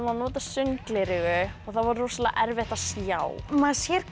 nota sundgleraugu og það var rosalega erfitt að sjá maður sér